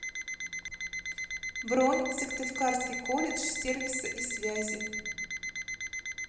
бронь сыктывкарский колледж сервиса и связи